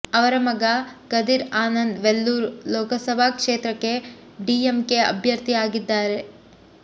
ಅವರ ಮಗ ಕದಿರ್ ಆನಂದ್ ವೆಲ್ಲೂರ್ ಲೋಕಸಭಾ ಕ್ಷೇತ್ರಕ್ಕೆ ಡಿಎಂಕೆ ಅಭ್ಯರ್ಥಿ ಆಗಿದ್ದಾರೆ